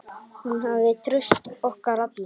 Hún hafði traust okkar allra.